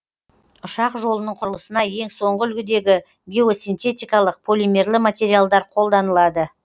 ұшақ жолының құрылысына ең соңғы үлгідегі геосинтетикалық полимерлі материалдар қолданылады